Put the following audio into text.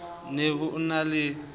ne ho e na le